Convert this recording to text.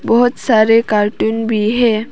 बहोत सारे कार्टून भी हैं।